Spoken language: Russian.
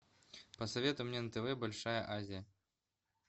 посоветуй мне на тв большая азия